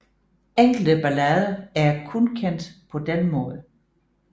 Enkelte ballader er kun kendt på den måde